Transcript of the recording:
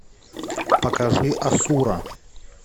покажи асура